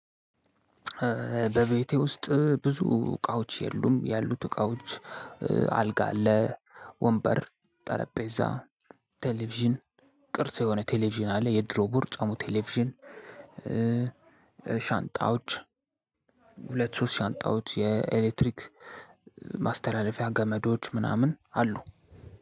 በቤቴ ውስጥ ብዙ እቃዎች የሉም። ያሉት እቃዎች አልጋ አለ ወንበር ጠረጴዛ ቴሌቪዥን ቅርስ የሆነ ቴሌቪዥን አለ የድሮ ቦርጫሙ ቴሌቪዥን። ሻንጣዎች ሁለት ሶስት ሻንጣዎች የኤሌክትሪክ ማስተላለፊያ ገመዶች ምናምን አሉ።